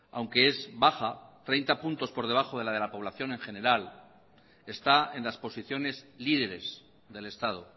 aunque es baja treinta puntos por debajo de la de la población en general está en las posiciones líderes del estado